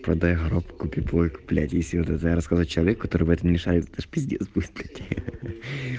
продаю гроб куплю плойку если вот это рассказать человеку который в этом не шарит это же пиздец будет блять ахаха